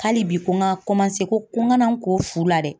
Hali bi ko n ka kɔmanse ko n ka na n ko fu la dɛ.